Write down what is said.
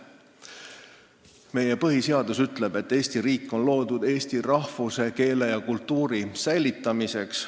Meie põhiseadus ütleb, et Eesti riik on loodud eesti rahvuse, keele ja kultuuri säilitamiseks.